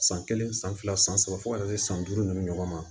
San kelen san fila san saba fo ka na se san duuru ni ɲɔgɔn ma